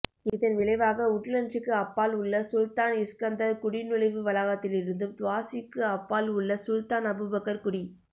இதன் விளைவாக உட்லண்ட்சுக்கு அப்பால் உள்ள சுல்தான் இஸ்கந்தர் குடிநுழைவு வளாகத்திலிருந்தும் துவாசுக்கு அப்பால் உள்ள சுல்தான் அபுபக்கர் குடி